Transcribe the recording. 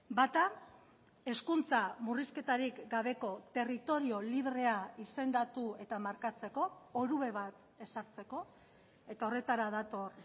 bata hezkuntza murrizketarik gabeko territorio librea izendatu eta markatzeko orube bat ezartzeko eta horretara dator